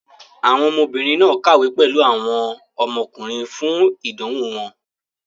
Àwọn ọmọbìnrin náà kàwé pẹ̀lú àwọn ọmọkùnrin fún ìdánwò wọn.